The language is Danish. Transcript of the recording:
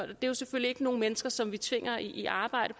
det er jo selvfølgelig ikke nogle mennesker som vi tvinger i arbejde